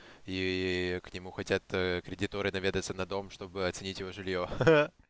и к нему хотят кредиторы наведаться на дом чтобы оценить его жилье